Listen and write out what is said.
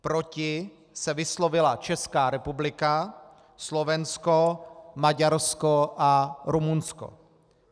Proti se vyslovila Česká republika, Slovensko, Maďarsko a Rumunsko.